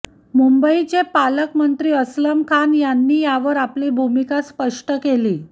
मुंबईचे पालकमंत्री अस्लम खान यांनी यावर आपली भूमिका स्पष्ट केली